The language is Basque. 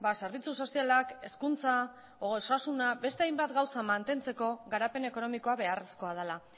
zerbitzu sozialak hezkuntza osasuna beste hainbat gauza mantentzeko garapen ekonomikoa beharrezkoa dela